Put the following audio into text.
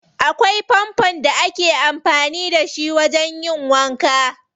Akwai fanfon da ake amfani da shi wajen yin wanka.